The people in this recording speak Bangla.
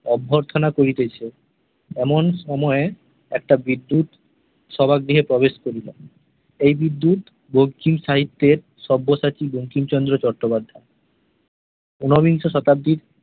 অভ্যর্থনা করিতেছে, অমন সময়ে একটা বিদ্যুৎ সভাগৃহে প্রবেশ করিল। এই বিদ্যুৎ বঙ্কিম সাহিত্যের সব্যসাচী বঙ্কিমচন্দ্র চট্টোপাধ্যায় । ঊনবিংশ শতাব্দীর